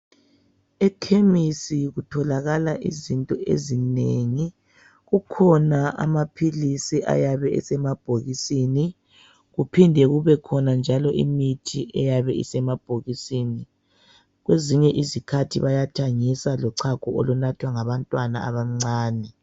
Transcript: Ekhemesi kutholakala izinto ezinengi. Kukhona amaphilisi ayabe esemabhokisini, kuphinde kubekhona njalo imithi eyabe isemabhokisini. Kwezinye izikhathi bayathengisa lochago olunathwa ngabantwana abancane.